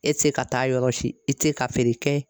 E tɛ se ka taa yɔrɔ si i tɛ ka feere kɛ